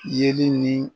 Yeli ni